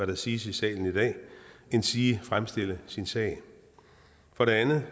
der siges i salen i dag endsige fremstille sin sag for det andet